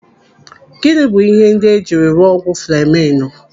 Gịnị bụ ihe ndị ejiri rụọ ọgwụ fleminu?